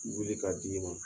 Wili k'a d'i ma